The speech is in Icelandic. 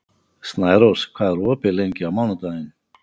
Snærós, hvað er opið lengi á mánudaginn?